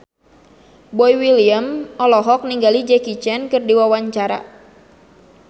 Boy William olohok ningali Jackie Chan keur diwawancara